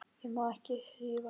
Ég má ekki rífast.